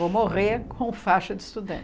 Vou morrer com faixa de estudante.